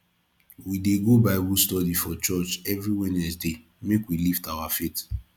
we dey go bible study for church every wednesday make we lift our faith